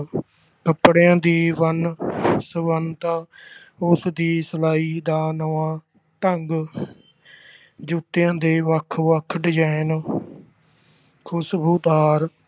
ਕੱਪੜਿਆਂ ਦੀ ਵੰਨ ਸੁਵੰਨਤਾ, ਉਸਦੀ ਸਿਲਾਈ ਦਾ ਨਵਾਂ ਢੰਗ ਜੁੱਤੀਆਂ ਦੇ ਵੱਖ-ਵੱਖ design ਖੁਸ਼ਬੂਦਾਰ